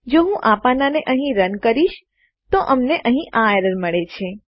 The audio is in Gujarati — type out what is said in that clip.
જો હું આ પાનાંને અહીં રન ચલાવવું કરીશ તો અમને અહીં આ એરર મળે છે